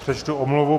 Přečtu omluvu.